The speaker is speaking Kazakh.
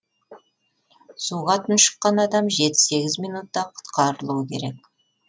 суға тұншыққан адам жеті сегіз минутта құтқарылуы керек